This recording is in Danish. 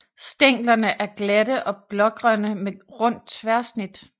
Stænglerne er glatte og blågrønne med rundt tværsnit